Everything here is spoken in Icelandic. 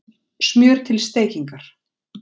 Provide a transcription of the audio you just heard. Smjör til steikingar